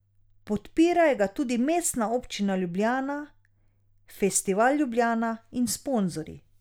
Podpirajo ga tudi Mestna občina Ljubljana, Festival Ljubljana in sponzorji.